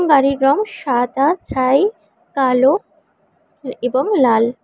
গাড়ির রঙ সাদা ছাই কালো এ এবং লাল।